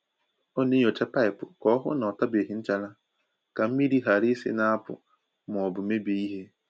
Ọ na-enyòcha paịpụ ka o hụ ná ọ tabeghi nchara ka mmiri ghara isi na-apụ̀ ma ọ bụ mebie ihe.